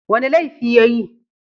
Wani laifi ya yi?